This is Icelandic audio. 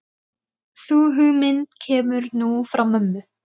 Sú hugmynd kemur nú frá mömmu.